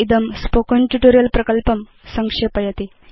इदं spoken tutorial प्रकल्पं संक्षेपयति